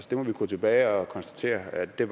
kan vi gå tilbage og konstatere at det